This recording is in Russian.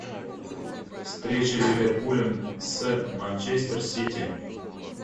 встреча ливерпуля с манчестер сити